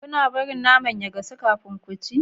Kuna bari naman ya gasu kafin ku ciya?